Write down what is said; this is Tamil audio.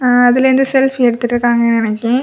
ஆ அதிலிருந்து செல்பி எடுத்துட்ருக்காங்க நெனக்கி.